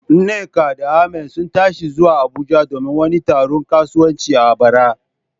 Nneka da Ahmad sun tashi zuwa Abuja domin wani taron kasuwanci a bara.